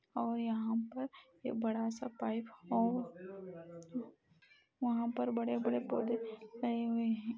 और यहाँ पर ये बड़ा सा पाइप और वहाँ पे बड़े बड़े पौधे लगे हुए हैं |